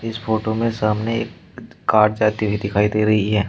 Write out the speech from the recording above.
इस फोटो में सामने एक द् कार जाती हुई दिखाई दे रही है।